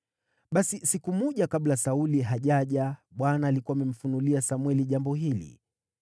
Basi siku moja kabla Sauli hajaja, Bwana alikuwa amemfunulia Samweli jambo hili: